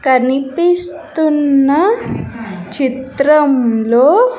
కనిపిస్తున్న చిత్రంలో.